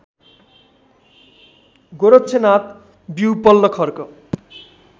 गोरक्षनाथ विउपल्ल खर्क